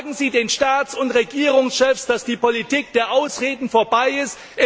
Sagen Sie den Staats und Regierungschefs, dass die Politik der Ausreden vorbei ist!